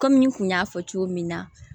Kɔmi n kun y'a fɔ cogo min na